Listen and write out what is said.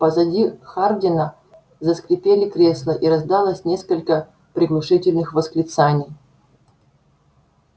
позади хардина заскрипели кресла и раздалось несколько приглушительных восклицаний